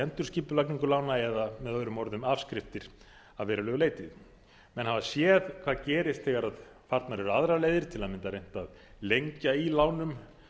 endurskipulagningu lána eða með öðrum orðum afskriftir að verulegu leyti menn hafa séð hvað gerist þegar farnar eru aðrar leiðir til að mynda reynt að lengja í lánum